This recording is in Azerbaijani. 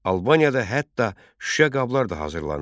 Albaniyada hətta şüşə qablar da hazırlanırdı.